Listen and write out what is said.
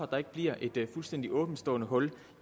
der ikke bliver et fuldstændigt åbenstående hul